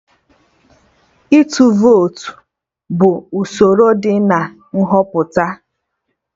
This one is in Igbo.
Ịtụ vote bụ usoro dị na Nhọpụta